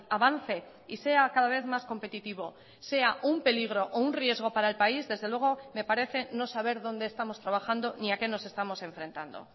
avance y sea cada vez más competitivo sea un peligro o un riesgo para el país desde luego me parece no saber dónde estamos trabajando ni a qué nos estamos enfrentando